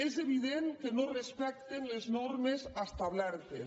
és evident que no respecten les normes establertes